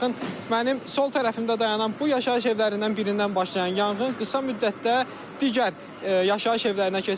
Baxın mənim sol tərəfimdə dayanan bu yaşayış evlərindən birindən başlayan yanğın qısa müddətdə digər yaşayış evlərinə keçib.